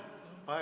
Aitäh!